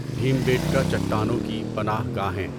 بھیمبیٹکا چٹانوں کی پناہ گاہیں